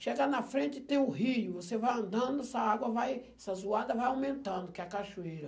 Chega na frente, tem o rio, você vai andando, essa água vai, essa zoada vai aumentando, que é a cachoeira.